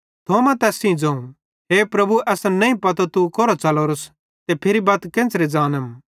थोमा तैस ज़ोवं हे प्रभु असन नईं पतो तू कोरां च़लोरोस ते फिरी बत केन्च़रे ज़ानम